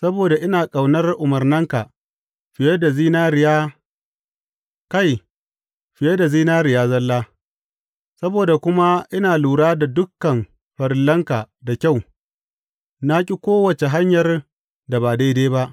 Saboda ina ƙaunar umarnanka fiye da zinariya, kai, fiye da zinariya zalla, saboda kuma ina lura da dukan farillanka da kyau, na ƙi kowace hanyar da ba daidai ba.